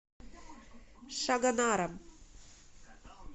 шагонаром